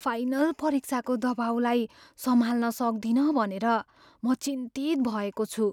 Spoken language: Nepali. फाइनल परीक्षाको दबाउलाई सम्हाल्न सक्दिनँ भनेर म चिन्तित भएको छु।